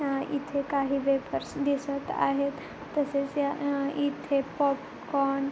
इथे काही वेपर्स दिसत आहेत तसेच इथे पॉपकॉर्न --